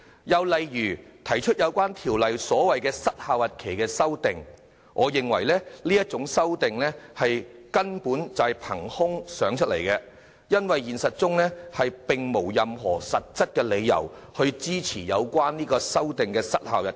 又例如，提出《條例草案》加入"失效日期"的修正案，我認為這種修訂根本是憑空想象出來的，因為現實中並沒有任何實質理由支持相關失效日期。